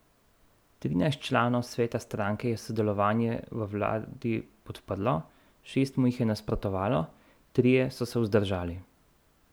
Trinajst članov sveta stranke je sodelovanje v vladi podprlo, šest mu jih je nasprotovalo, trije so se vzdržali.